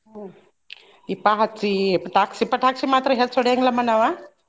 ಹ್ಮ್ ದೀಪಾ ಹಚ್ಚಿ ಪಟಾಕ್ಷಿ, ಪಟಾಕ್ಷಿ ಮಾತ್ರ ಹೆಚ್ಚ್ ಹೋಡ್ಯಾಂಗಿಲ್ಲಮ್ಮಾ ನಾವ್.